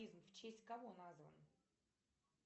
в честь кого назван